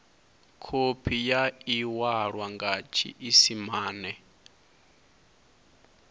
khophi ya iwalwa nga tshiisimane